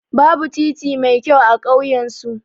Babu titi mai kyau a ƙauyan su.